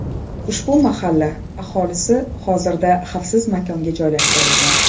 Ushbu mahalla aholisi hozirda xavfsiz maskanga joylashtirilgan.